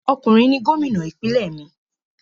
Ọkùnrin ni Gómìnà ìpínlẹ̀ mí